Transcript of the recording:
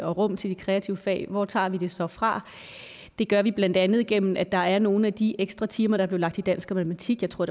og rum til de kreative fag hvor tager vi det så fra det gør vi blandt andet igennem at der er nogle af de ekstra timer der blev lagt i dansk og matematik jeg tror